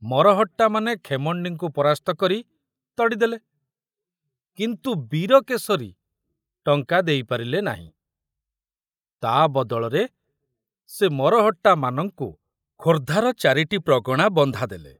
ମରହଟ୍ଟାମାନେ ଖେମଣ୍ଡିଙ୍କୁ ପରାସ୍ତ କରି ତଡ଼ିଦେଲେ, କିନ୍ତୁ ବୀରକେଶରୀ ଟଙ୍କା ଦେଇପାରିଲେ ନାହିଁ, ତା ବଦଳରେ ସେ ମରହଟ୍ଟାମାନଙ୍କୁ ଖୋର୍ଦ୍ଧାର ଚାରିଟି ପ୍ରଗଣା ବନ୍ଧା ଦେଲେ।